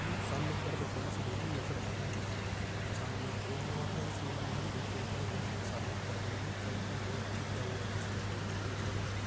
सामने की तरफ एक बड़ी सी बिल्डिंग नजर आ रही है सामने एक बोर्ड लगा हुआ है जिसमे बंधन बैंक लिखा हुआ है सामने की तरफ एक रेड कलर का बोर्ड भी लगा हुआ है जिसमे कोटक लिखा हुआ है।